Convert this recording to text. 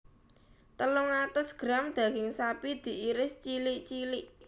Telung atus gram daging sapi diiris cilik cilik